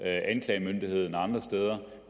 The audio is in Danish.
anklagemyndigheden og andre steder